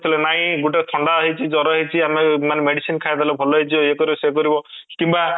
ହେଲେ ନାଇଁ ଗୋଟେ ଥଣ୍ଡା ହେଇଛି ଜର ହେଇଛି କି ଆମେ ମାନେ medicine ଖାଇଦେଲେ ଭଲ ହେଇଯିବ ଇୟେ କରିବ ସିଏ କରିବ କିମ୍ବା